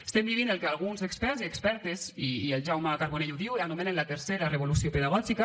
estem vivint el que alguns experts i expertes i el jaume carbonell ho diu anomenen la tercera revolució pedagògica